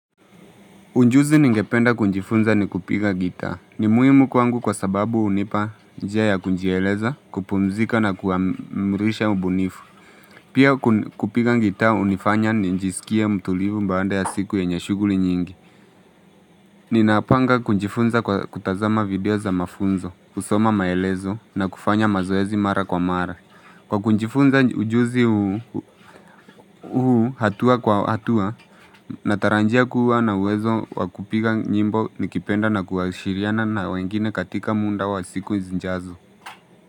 Unjuzi ningependa kunjifunza ni kupiga gitaa. Ni muhimu kwangu kwa sababu unipa njia ya kunjieleza, kupumzika na kuamrisha ubunifu. Pia kupiga gitaa unifanya ninjiskie mtulivu mbaanda ya siku yenye shuguli nyingi. Ninapanga kunjifunza kwa kutazama video za mafunzo, kusoma maelezo na kufanya mazoezi mara kwa mara. Kwa kunjifunza ujuzi huu hatua kwa hatua, nataranjia kuwa na uwezo wa kupiga nyimbo nikipenda na kuashiriana na wengine katika munda wa siku zinjazo.